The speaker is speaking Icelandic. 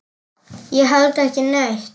Ég held ekki neitt.